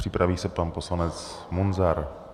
Připraví se pan poslanec Munzar.